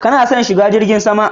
Ka na son shiga jirgin sama?